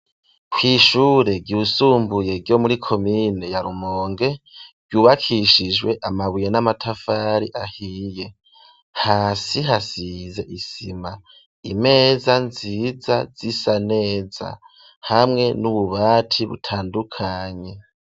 Kw’ishure ryisumbuye, ryo muri komine ya Rumonge, ryubakishijwe amabuye, n'amatafari ahiye; hasi hasize isima, imeza nziza, zisa neza, hamwe n'ububati butandukanye.